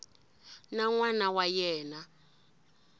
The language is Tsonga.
na n wana wa yena